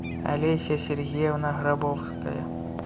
олеся сергеевна грабовская